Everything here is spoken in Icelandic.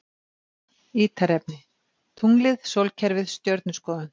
Ítarefni: Tunglið Sólkerfið Stjörnuskoðun.